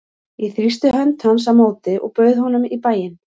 Ég þrýsti hönd hans á móti og bauð honum í bæinn.